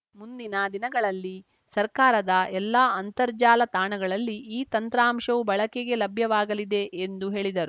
ಮುಂದಿನ ದಿನಗಳಲ್ಲಿ ಸರ್ಕಾರದ ಎಲ್ಲ ಅಂತರ್ಜಾಲ ತಾಣಗಳಲ್ಲಿ ಈ ತಂತ್ರಾಂಶವು ಬಳಕೆಗೆ ಲಭ್ಯವಾಗಲಿದೆ ಎಂದು ಹೇಳಿದರು